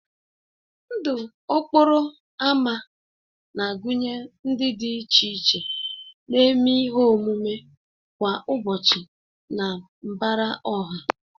Ndụ okporo ámá na-agụnye ndị dị iche iche na-eme ihe omume kwa ụbọchị na mbara ọha